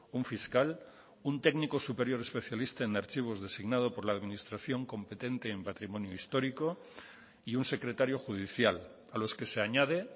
un fiscal un técnico superior especialista en archivos designado por la administración competente en patrimonio histórico y un secretario judicial a los que se añade